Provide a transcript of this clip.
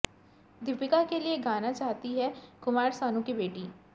दीपिका के लिए गाना चाहती हैं कुमार सानू की बेटी